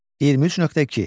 23.2.